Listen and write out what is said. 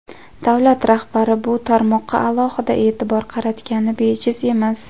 Davlat rahbari bu tarmoqqa alohida e’tibor qaratgani bejiz emas.